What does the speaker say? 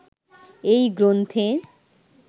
এই গ্রন্থে